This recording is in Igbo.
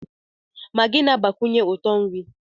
Maagị na-agbakwunye uto na nri.